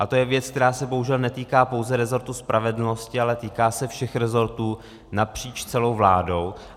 A to je věc, která se bohužel netýká pouze rezortu spravedlnosti, ale týká se všech rezortů napříč celou vládou.